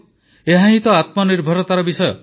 ଏହା ହିଁ ତ ଆତ୍ମନିର୍ଭରତାର ବିଷୟ